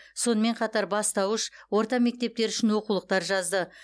сонымен қатар бастауыш орта мектептер үшін оқулықтар жазды